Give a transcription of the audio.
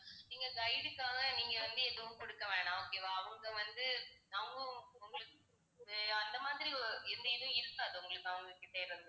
நீங்க guide உக்காக நீங்க வந்து எதுவும் கொடுக்க வேணாம் okay வா அவங்க வந்து அவங்க உங்களுக்கு அஹ் அந்த மாதிரி அஹ் எந்த இதுவும் இருக்காது உங்களுக்கு அவங்ககிட்ட இருந்து